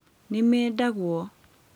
Nĩmendagwo